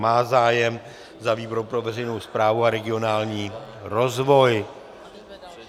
Má zájem za výbor pro veřejnou správu a regionální rozvoj.